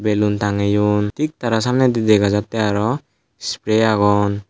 belun tangeun thik tara samne dega jatteh aroh spray agon.